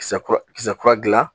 Kisɛ kura kisɛ kura dilan